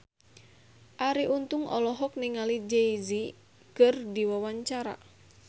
Arie Untung olohok ningali Jay Z keur diwawancara